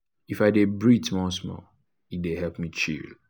if i breathe small small e dey help me chill.